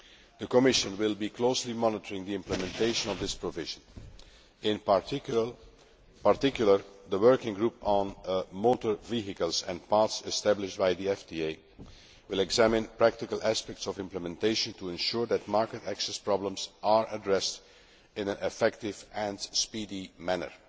The Commission will be closely monitoring the implementation of this provision. In particular, the Working Group on Motor Vehicles and Parts established by the FTA will examine practical aspects of implementation to ensure that market access problems are addressed in an effective and speedy